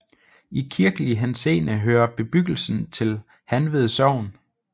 I kirkelig henseende hører bebyggelsen til Hanved Sogn